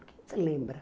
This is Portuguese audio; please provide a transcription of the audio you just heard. O que você lembra?